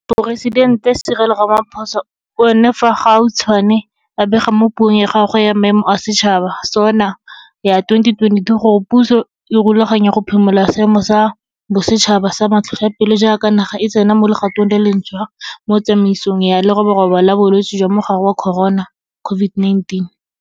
Moporesidente Cyril Ramaphosa o ne fa gautshwane a bega mo Puong ya gagwe ya Maemo a Setšhaba SoNA ya 2022 gore puso e rulaganya go phimola Seemo sa Bosetšhaba sa Matlhotlhapelo jaaka naga e tsena mo legatong le lentšhwa mo tsamaisong ya leroborobo la bolwetse jwa mogare wa Corona COVID-19.